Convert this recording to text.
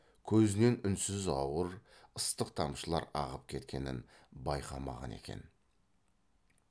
көзінен үнсіз ауыр ыстық тамшылар ағып кеткенін байқамаған екен